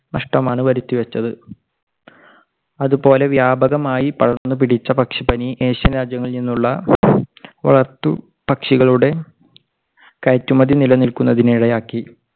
നഷ്ടമാണ് വരുത്തി വെച്ചത്. അതുപോലെ വ്യാപകമായ വ്യാപകമായി പടർന്നു പിടിച്ച പക്ഷിപ്പനി ഏഷ്യൻ രാജ്യങ്ങളിൽ നിന്നുള്ള വളർത്തു പക്ഷികളുടെ കയറ്റുമതി നിലനിൽക്കുന്നതിന് ഇടയാക്കി.